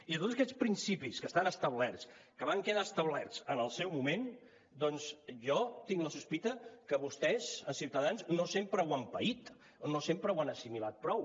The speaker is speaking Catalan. i tots aquests principis que estan establerts que van quedar establerts en el seu moment doncs jo tinc la sospita que vostès a ciutadans no sempre ho han paït no sempre ho han assimilat prou